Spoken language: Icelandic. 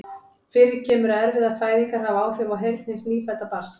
Fyrir kemur að erfiðar fæðingar hafa áhrif á heyrn hins nýfædda barns.